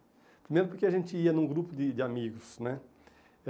Primeiro porque a gente ia num grupo de de amigos, né? Eh